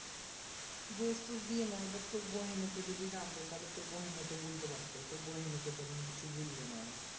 দোষ তোষ দিয়ে না এবার তোর বহিন ও তো যদি জানত তাহলে তোর বহিন ও তো বলতে পারতো তোর বহিন ও তখন কিছু বললে না